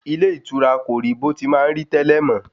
Ilé ìtura kò rí bó ti má ń rí tẹ́lẹ̀ mọ́